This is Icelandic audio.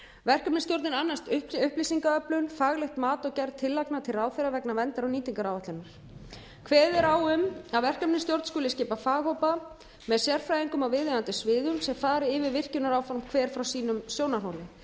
verkefnisstjórnin annast upplýsingaöflun faglegt mat og gerð tillagna til ráðherra vegna verndar og nýtingaráætlunar kveðið er á um að verkefnisstjórn skuli skipa faghópa með sérfræðingum á viðeigandi sviðum sem fari yfir virkjunaráform hver frá sínum sjónarhóli